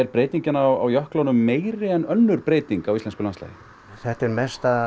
breytingin á jöklunum meiri en önnur breyting á íslensku landslagi þetta er mesta